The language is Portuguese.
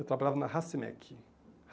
Eu trabalhava na Racimec.